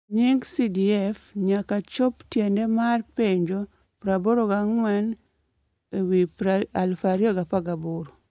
e nying CDF nyaka chop tiende mar penjo 84/2018